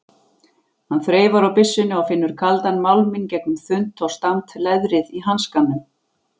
Hann þreifar á byssunni og finnur kaldan málminn gegnum þunnt og stamt leðrið í hanskanum.